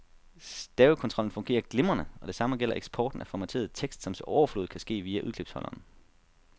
Stavekontrollen fungerer glimrende, og det samme gælder eksporten af formateret tekst, som til overflod kan ske via udklipsholderen.